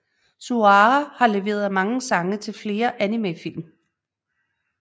Suara har leveret sange til flere animefilm